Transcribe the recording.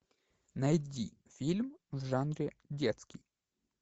найди фильм в жанре детский